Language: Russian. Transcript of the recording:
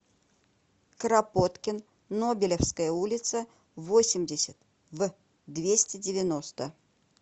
кропоткин нобелевская улица восемьдесят в двести девяносто